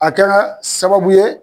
A kɛra sababu ye.